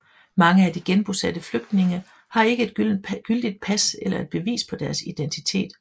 Mange af de genbosatte flygtninge har ikke et gyldigt pas eller et bevis på deres identitet